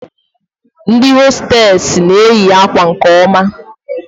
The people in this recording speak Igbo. Ndị hostesị n'eyi akwa nke oma